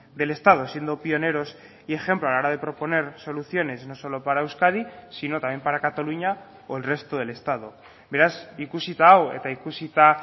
del estado siendo pioneros y ejemplo a la hora de proponer soluciones no solo para euskadi sino también para cataluña o el resto del estado beraz ikusita hau eta ikusita